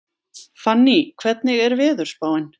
Fanný, hvernig er veðurspáin?